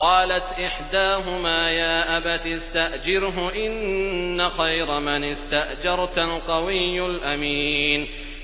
قَالَتْ إِحْدَاهُمَا يَا أَبَتِ اسْتَأْجِرْهُ ۖ إِنَّ خَيْرَ مَنِ اسْتَأْجَرْتَ الْقَوِيُّ الْأَمِينُ